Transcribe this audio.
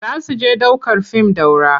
Za su je ɗ aukar fim Daura.